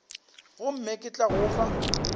gomme ke tla go fa